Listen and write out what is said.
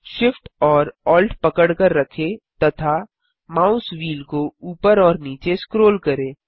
Shift और Alt पकड़कर रखें तथा माउस व्हील को ऊपर और नीचे स्क्रोल करें